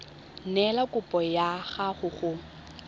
neela kopo ya gago go